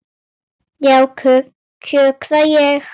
Já, kjökra ég.